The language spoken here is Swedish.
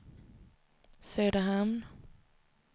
Söderhamn